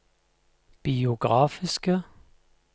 biografiske